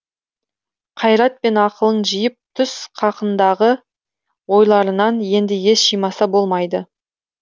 қайрат пен ақылын жиып түс қақындағы ойларынан енді ес жимаса болмайды